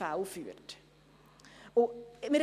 Und das werte ich als Erfolg.